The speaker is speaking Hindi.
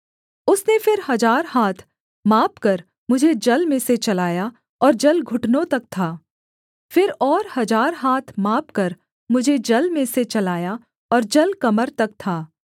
उसने फिर हजार हाथ मापकर मुझे जल में से चलाया और जल घुटनों तक था फिर और हजार हाथ मापकर मुझे जल में से चलाया और जल कमर तक था